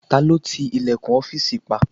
Ta ló ti ilẹ̀kùn ọ́fìsì pa?